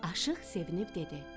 Aşiq sevinib dedi: